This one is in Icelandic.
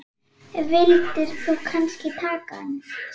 Vildir þú kannski taka hann?